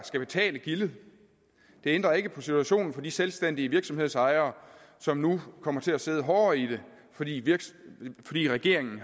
skal betale gildet det ændrer ikke på situationen for de selvstændige virksomhedsejere som nu kommer til at sidde hårdere i det fordi det fordi regeringen